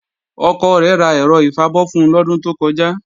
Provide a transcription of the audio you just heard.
Ọkọ rẹ̀ ra ẹ̀rọ ìfabọ́ fun lọ́dún tó kọjá